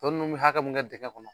Tɔ ninnu bɛ hakɛ mun kɛ dingɛ kɔnɔ